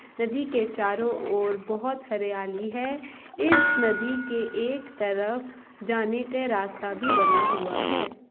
नदी के चारो ओर बहुत हरियाली है। इस नदी के एक तरफ जाने का रास्ता भी बना हुआ है।